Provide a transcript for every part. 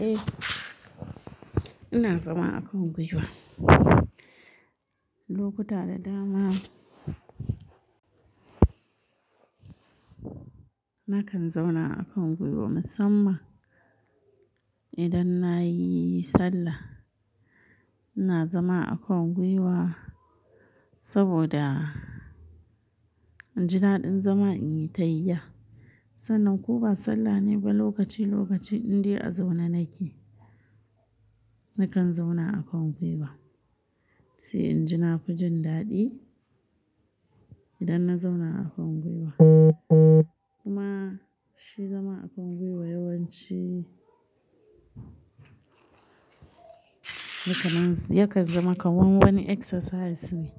Eh, ina zama a kan gwiwa. Lokuta da dama nakan zauna a kan gwiwa musamman idan na yi sallah. Ina zama a kan gwiwa saboda inji daɗin zama in yi tahiya. Sannan ko ba sallah ne ba, lokaci-lokaci indai a zauna nake, nakan zauna a kan gwiwa, sai inji na fi jin daɗi idan na zauna a kan gwiwa. Kuma shi zama a kan gwiwa yakan zama kamar wani exercise ne.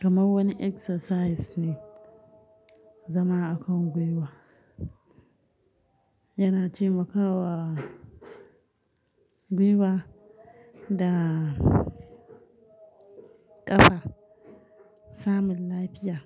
Kamar wani exercise ne zama a kan gwiwa. Yana taimakawa gwiwa da ƙafa samun lafiya.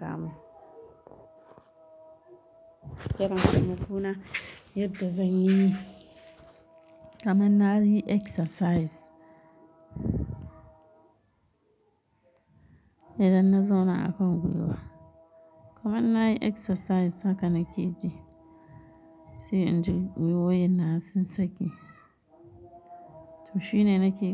Sabo yana taimako na yadda zan yi kamar na yi exercise idan na zauna a kan gwiwa. Kamar na yi exercise haka nake ji, sai inji guiwowin nawa sun sake. To shi ne nake yi.